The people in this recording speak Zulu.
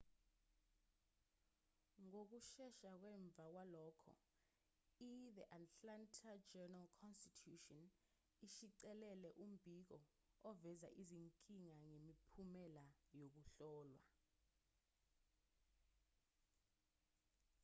ngokushesha ngemva kwalokho ithe atlanta journal-constitution ishicilele umbiko oveza izinkinga ngemiphumela yokuhlolwa